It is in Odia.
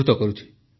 ସେ ଲେଖିଛନ୍ତି